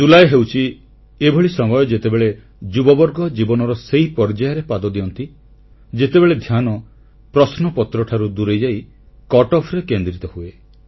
ଜୁଲାଇ ଏବଂ ଅଗଷ୍ଟ ହେଉଛି ଏଭଳି ସମୟ ଯେତେବେଳେ ଯୁବବର୍ଗ ଜୀବନର ସେହି ପର୍ଯ୍ୟାୟରେ ପାଦ ଦିଅନ୍ତି ଯେତେବେଳେ ଧ୍ୟାନ ପ୍ରଶ୍ନପତ୍ରଠାରୁ ଦୂରେଇଯାଇ କଟ୍ଅଫ ରେ କେନ୍ଦ୍ରିତ ହୁଏ